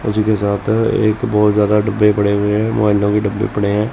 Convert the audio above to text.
इसी के साथ एक बहोत ज्यादा डब्बे पड़े हुए है वाइनो के डब्बे पड़े हैं।